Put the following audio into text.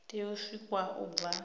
tea u sikwa u bva